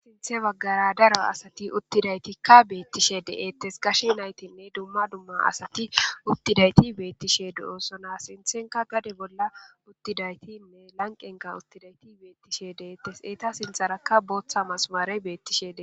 Sinththe baggara daro asati uththidayti beetishe de7etees. Gashe naatinne dumma dumma asati utidayti beetishe de7osona. Sinththenkka gade bolla uttidayti lanqenkka uttidayti beetishe de7eetes. Etta sinththaraka booththa masimare beetishe de7ees.